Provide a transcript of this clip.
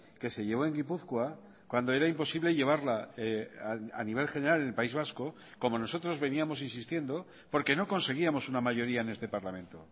que se llevo en gipuzkoa cuando era imposible llevarla a nivel general en el país vasco como nosotros veníamos insistiendo porque no conseguíamos una mayoría en este parlamento